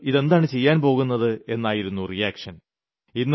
താങ്കൾ ഇതെന്താ ചെയ്യാൻ പോകുന്നത് എന്നായിരുന്നു റിയാക്ഷൻ